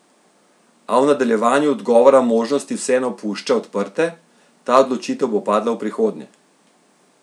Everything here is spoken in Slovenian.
A v nadaljevanju odgovora možnosti vseeno pušča odprte: "Ta odločitev bo padla v prihodnje.